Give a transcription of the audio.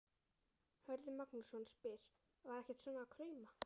Hörður Magnússon spyr: Var ekkert svona að krauma?